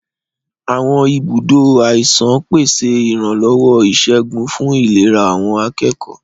Àwọn ibùdó àìsàn ń pèsè ìrànlọ́wọ́ ìṣègùn fún ìlera àwọn akẹ́kọ̀ọ́.